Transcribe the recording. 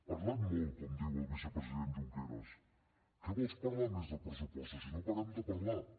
parlat molt com diu el vicepresident junqueras què vols parlar més dels pressupostos si no parem de parlar ne